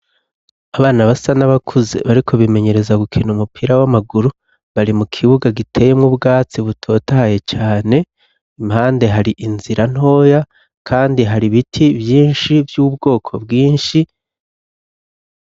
Abana basa n'abakuze bariko bimenyereza gukina umupira w'amaguru, bari mu kibuga giteyemwo ubwatsi butotahaye cane, impande hari inzira ntoya kandi hari biti vyinshi vy'ubwoko bwinshi.